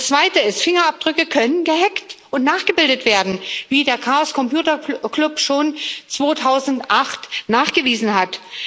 Das Zweite ist Fingerabdrücke können gehackt und nachgebildet werden, wie der Chaos Computer Club schon 2008 nachgewiesen hat.